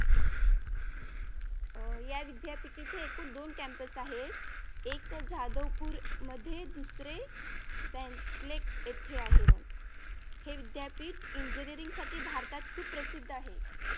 अह या विद्यापीठाचे एकूण दोन campus आहेत. एक जाधव पूर मध्ये दुसरे येते आहे बघ हे विद्यापीठ engineering साठी भारतात प्रसिद्ध आहे